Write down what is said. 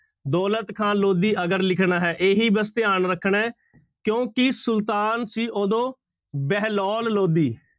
ਦੌਲਤ ਖ਼ਾਂ ਲੋਧੀ ਅਗਰ ਲਿਖਣਾ ਹੈ ਇਹੀ ਬਸ ਧਿਆਨ ਰੱਖਣਾ ਹੈ ਕਿਉਂਕਿ ਸੁਲਤਾਨ ਸੀ ਉਦੋਂ ਬਹਿਲੋਲ ਲੋਧੀ।